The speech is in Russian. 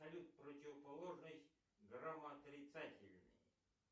салют противоположность грамоотрицательный